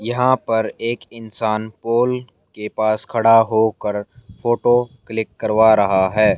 यहां पर एक इंसान पोल के पास खड़ा होकर फोटो क्लिक करवा रहा है।